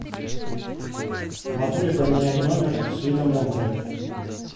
могу ли поменять номер с видом на море